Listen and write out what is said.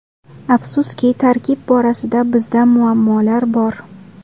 Afsuski, tarkib borasida bizda muammolar bor.